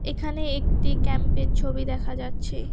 এখানে একটি ক্যাম্পের ছবি দেখা যাচ্ছে।